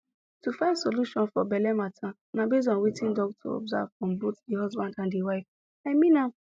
to find solution for belle matter na base on wetin doctor observe from bothe the husband and the wife i mean am